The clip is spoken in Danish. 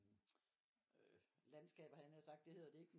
Øh landskaber havde jeg nær sagt det hedder det ikke